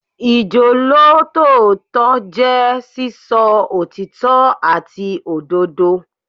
Ìjólótòótọ́ jẹ́ sísọ òtítọ́ àti òdodo.